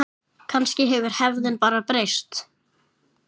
Kannski hefur hefðin bara breyst.